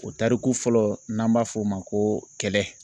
O tariku fɔlɔ n'an b'a f'o ma ko kɛlɛ.